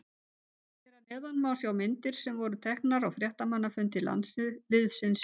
Hér að neðan má sjá myndir sem voru teknar á fréttamannafundi landsliðsins í dag.